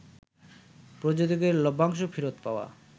প্রযোজকের লভ্যাংশ ফেরত পাওয়া